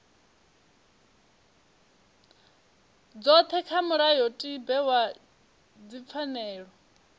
dzothe kha mulayotibe wa dzipfanelo